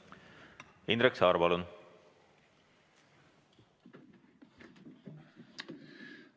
Indrek Saar, palun!